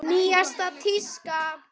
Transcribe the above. Nýjasta tíska?